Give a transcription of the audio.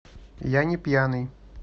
я не пьяный